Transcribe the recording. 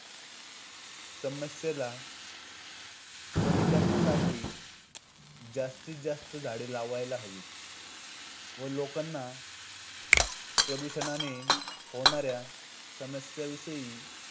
समस्येला कमी करण्यासाठी जास्तीत जास्त झाडे लावायला हवीत व लोकांना प्रदूषणाने होणाऱ्या समस्यांविषयी